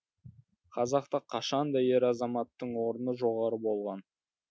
қазақта қашанда ер азаматтың орны жоғары болған